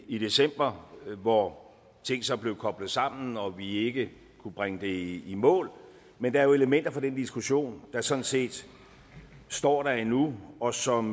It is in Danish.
i december hvor ting så blev koblet sammen og hvor vi ikke kunne bringe det i mål men der er jo elementer fra den diskussion der sådan set står der endnu og som